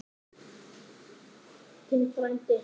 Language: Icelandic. Þinn frændi Andri.